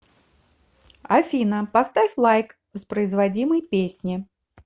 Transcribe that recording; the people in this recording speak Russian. афина поставь лайк воспроизводимой песне